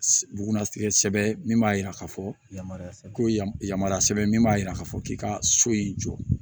Bugunna sigɛsɛ min b'a yira k'a fɔ yamaruya sɛbɛn ko ye yamaruya sɛbɛn min b'a jira k'a fɔ k'i ka so in jɔ